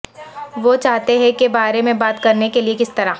وہ چاہتے ہیں کے بارے میں بات کرنے کے لئے کس طرح